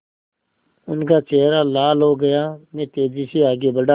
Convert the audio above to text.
उनका चेहरा लाल हो गया मैं तेज़ी से आगे बढ़ा